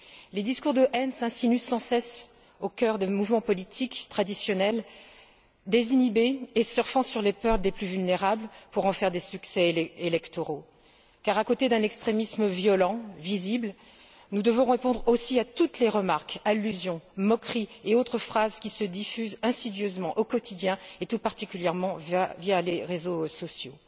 Les discours de haine s'insinuent sans cesse au cœur de mouvements politiques traditionnels, désinhibés et surfant sur les peurs des plus vulnérables pour en tirer des succès électoraux car, à côté d'un extrémisme violent, visible, nous devons répondre aussi à toutes les remarques, allusions, moqueries et autres phrases qui se diffusent insidieusement au quotidien, tout particulièrement, via les réseaux sociaux.